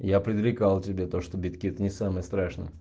я предрекал тебе то что биткит не самое страшное